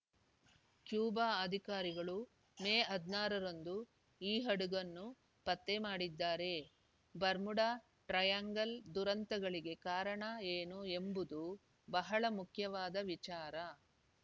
Cuba ಅಧಿಕಾರಿಗಳು May ಹದ್ನಾರರಂದು ಈ ಹಡಗನ್ನು ಪತ್ತೆಮಾಡಿದ್ದಾರೆ ಬರ್ಮುಡಾ ಟ್ರಯಾಂಗಲ್‌ ದುರಂತಗಳಿಗೆ ಕಾರಣ ಏನು ಎಂಬುದು ಬಹಳ ಮುಖ್ಯವಾದ ವಿಚಾರ